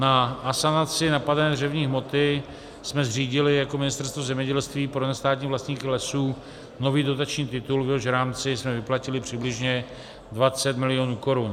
Na asanaci napadené dřevní hmoty jsme zřídili jako Ministerstvo zemědělství pro nestátní vlastníky lesů nový dotační titul, v jehož rámci jsme vyplatili přibližně 20 milionů korun.